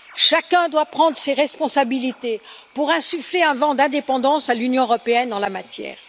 Chacun doit prendre ses responsabilités pour insuffler un vent d'indépendance à l'Union européenne en la matière.